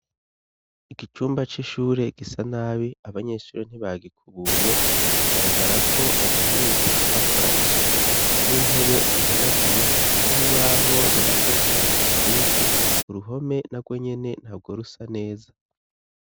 Icumba c'ishure gisa nabi abanyeshuri ntibagikubuye. Bigaragarako badaherutse kuhakora isuku, n'intebe ntihanaguye, n'urubaho ruriko ivyandiko vyinshi. Uruhome na rwo nyene ntabwo rusa neza.